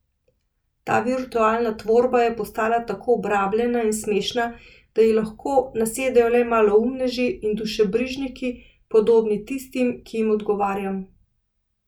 Ta virtualna tvorba je postala tako obrabljena in smešna, da ji lahko nasedejo le maloumneži in dušebrižniki, podobni tistim, ki jim odgovarjam.